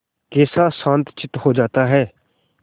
कैसा शांतचित्त हो जाता है